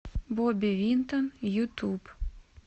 бобби винтон ютуб